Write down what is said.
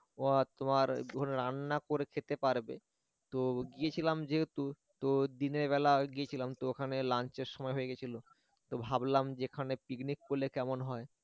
তোমার ধরো রান্না করে খেতে পারবে তো গিয়েছিলাম যেহেতু তো দিনের বেলা গিয়েছিলাম তো ওখানে lunch র সময় হয়ে গেছিল তো ভাবলাম যে এখানে পিকনিক করলে কেমন হয়